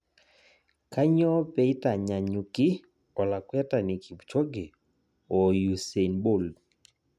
Kanyoo peitanyanyuki olakwetani Kipchoge oo usein bold